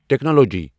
Technology.